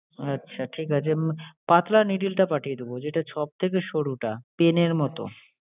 আচ্ছা ঠিক আছে। পাতলা needle টা পাঠিয়ে দেবো, যেটা সব থেকে সরুটা এর pin মতো।